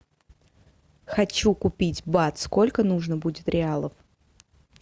хочу купить бат сколько нужно будет реалов